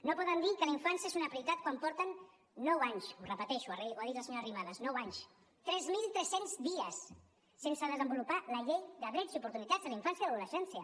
no poden dir que la infància és una prioritat quan porten nou anys ho repeteixo ho ha dit la senyora arrimadas nou anys tres mil tres cents dies sense desenvolupar la llei de drets i oportunitats de la infància l’adolescència